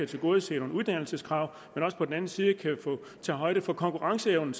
tilgodese nogle uddannelseskrav og også på den anden side kan tage højde for konkurrenceevnen